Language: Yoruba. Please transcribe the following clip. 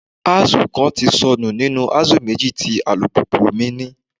Axle kan ti sọnù nínú axle méjì tí alùpùpù mi ní.